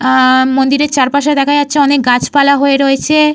আ মন্দিরের চারপাশে দেখা যাচ্ছে অনেক গাছপালা হয়ে রয়েছে।